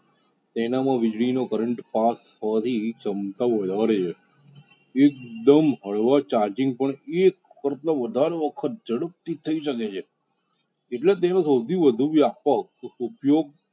તેના મા વિજળી નો current પાસ થવા ની વધારે છ . એક દમ હળવા charging પર એક કરતા વધાર વખત જડપથી થઇ શકે છે . એટલે તેઓ સૌથી વધુ વ્યાપક ઉપયોગ